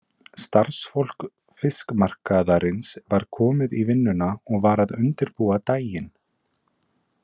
Starfsfólk fikmarkaðarins var komið í vinnuna og var að undirbúa daginn.